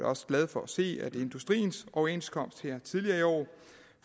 også glad for at se at industriens overenskomst her tidligere i år